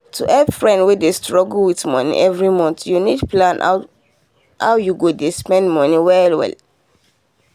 to help friend wey dey struggle with money every month you need plan how you dey spend well well.